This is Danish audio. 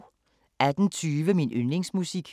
18:20: Min yndlingsmusik